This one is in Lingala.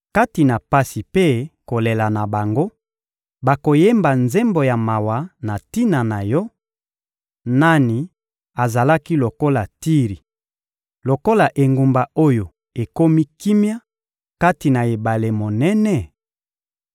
Kati na pasi mpe kolela na bango, bakoyemba nzembo ya mawa na tina na yo: ‘Nani azalaki lokola Tiri, lokola engumba oyo ekomi kimia kati na ebale monene?’